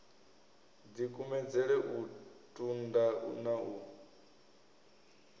dikumedzele u tunda na u